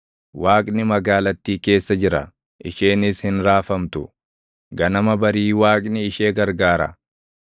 Waaqni magaalattii keessa jira; isheenis hin raafamtu; ganama barii Waaqni ishee gargaara.